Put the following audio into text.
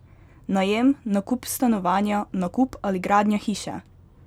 Najem, nakup stanovanja, nakup ali gradnja hiše?